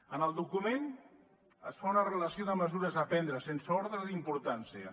en el document es fa una relació de mesures a prendre sense ordre d’importància